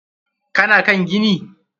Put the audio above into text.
Ka na kan gini?